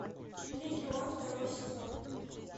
легион второй сезон